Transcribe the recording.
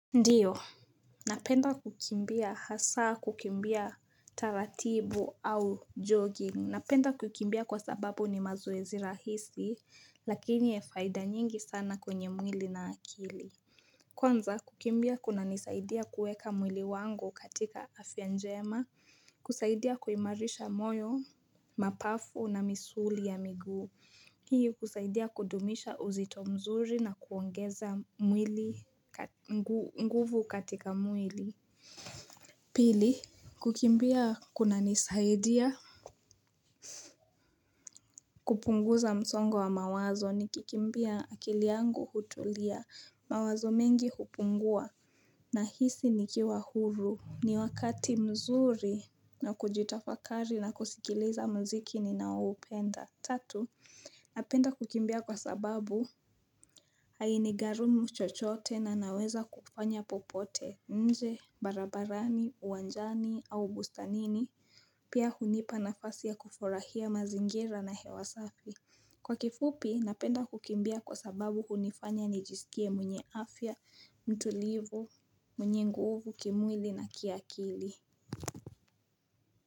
Ndiyo. Napenda kukimbia hasa kukimbia taratibu au jogging. Napenda kukimbia kwa sababu ni mazoezi rahisi lakini ya faida nyingi sana kwenye mwili na akili. Kwanza kukimbia kuna nisaidia kueka mwili wangu katika afya jema, kusaidia kuimarisha moyo, mapafu na misuli ya miguu. Hii husaidia kudumisha uzito mzuri na kuongeza mwili nguvu katika mwili. Pili kukimbia kuna nisaidia kupunguza msongo wa mawazo ni kikimbia akili yangu hutulia mawazo mengi hupungua na hisi ni kiwa huru ni wakati mzuri na kujitafakari na kusikiliza muziki ninao upenda Tatu napenda kukimbia kwa sababu hai ni garumu chochote na naweza kufanya popote nje, barabarani, uwanjani au bustanini Pia hunipa nafasi ya kufurahia mazingira na hewa safi. Kwa kifupi, napenda kukimbia kwa sababu hunifanya ni jisikie mwenye afya, mtulivu, mwenye nguvu, kimwili na kiakili.